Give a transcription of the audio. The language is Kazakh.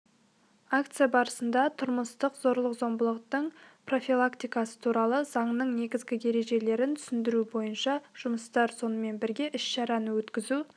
акция барысында тұрмыстық зорлық-зомбылықтың профилактикасы туралы заңның негізгі ережелерін түсіндіру бойынша жұмыстар сонымен бірге іс-шараны өткізу